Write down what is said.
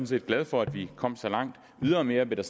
set glad for at vi kom så langt ydermere blev det